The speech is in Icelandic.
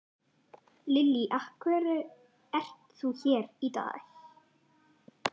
Lillý: Af hverju ert þú hér í dag?